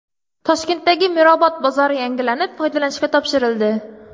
Toshkentdagi Mirobod bozori yangilanib, foydalanishga topshirildi.